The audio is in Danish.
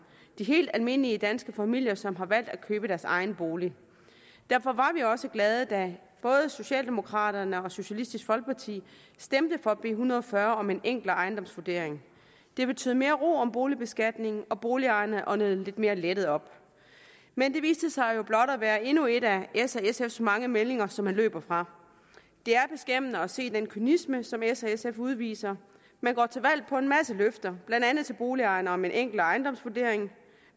de helt almindelige danske familier som har valgt at købe deres egen bolig derfor var vi også glade da både socialdemokraterne og socialistisk folkeparti stemte for b en hundrede og fyrre om en enklere ejendomsvurdering det betød mere ro om boligbeskatningen og boligejerne åndede lidt mere lettet op men det viste sig jo blot at være endnu et af s og sfs mange meldinger som man løber fra det er beskæmmende at se den kynisme som s og sf udviser man går til valg på en masse løfter blandt andet til boligejerne om en enklere ejendomsvurdering